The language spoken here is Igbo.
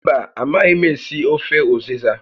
Mba, a maghị m esi ofe ụzịza